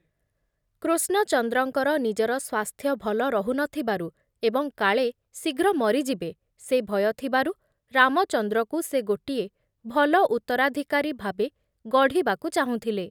କୃଷ୍ଣଚନ୍ଦ୍ରଙ୍କର ନିଜର ସ୍ୱାସ୍ଥ୍ୟ ଭଲ ରହୁ ନ ଥିବାରୁ ଏବଂ କାଳେ ଶୀଘ୍ର ମରିଯିବେ ସେ ଭୟ ଥିବାରୁ ରାମଚନ୍ଦ୍ରକୁ ସେ ଗୋଟିଏ ଭଲ ଉତ୍ତରାଧ୍ୟାକାରୀ ଭାବେ ଗଢ଼ିବାକୁ ଚାହୁଁଥିଲେ ।